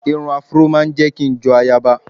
Irun afró ma ń jẹ́ kí n jọ ayaba